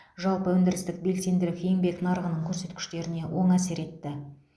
жалпы өндірістік белсенділік еңбек нарығының көрсеткіштеріне оң әсер етті